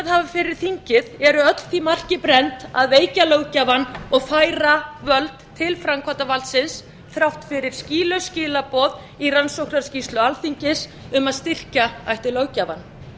hafa fyrir þingið eru öll því marki brennd að veikja löggjafann og færa völd til framkvæmdarvaldsins þrátt fyrir skýlaus skilaboð í rannsóknarskýrslu alþingis um að styrkja ætti löggjafann